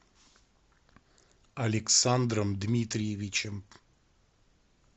александром дмитриевичем